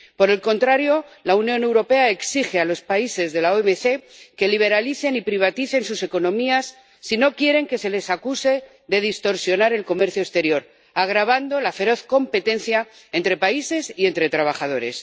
Por el contrario, la Unión Europea exige a los países de la OMC que liberalicen y privaticen sus economías si no quieren que se les acuse de distorsionar el comercio exterior, agravando la feroz competencia entre países y entre trabajadores.